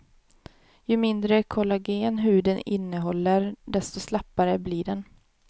Ju mindre kollagen huden innehåller desto slappare blir den.